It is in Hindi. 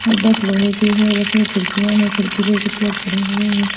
अब बस लोहे की है बस में खिड़कियां हैं खिड़की पे कुछ लोग चढ़े हुए हैं।